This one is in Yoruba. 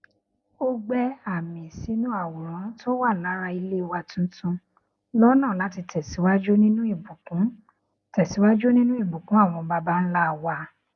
ó gbẹ àmì sínú àwòrán tó wà lára ilé wa tuntun lọnà láti tẹsíwájú nínú ìbùkún tẹsíwájú nínú ìbùkún àwọn baba ńlá wa